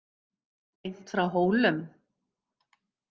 Beint frá Hólum.